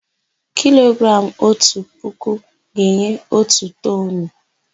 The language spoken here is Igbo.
Kilogramụ otu puku ga-enye otu toonu.